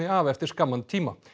af eftir skamman tíma